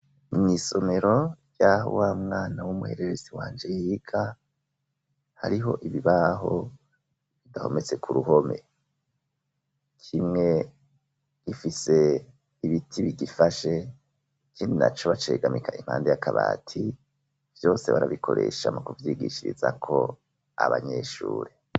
mw,isomero rya wa mwana w'umuhererezi wanje yiga hariho ibibaho bidahometse ku ruhome kimwe gifise ibiti bigifashe ninaco bacegamika impande yakabati vyose barabikoresha mu kuvyigishirizako abanyeshure